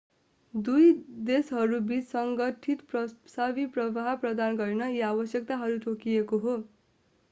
दुवै देशहरूबिच संगठित प्रवासी प्रवाह प्रदान गर्न यी आवश्यकताहरू तोकिएको हो